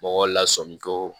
Mɔgɔw lasɔmin ko